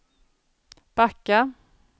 backa